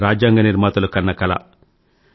ఇదే మన రాజ్యాంగ నిర్మాతలు కన్న కల